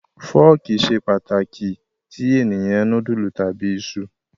Fọ́ọ́kì ṣe pàtàkì tí ènìyàn núdúlù tàbí iṣu.